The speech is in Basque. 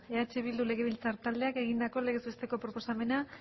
eh bildu legebiltzar taldeak egindako legez besteko proposamena